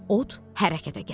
Od hərəkətə gəldi.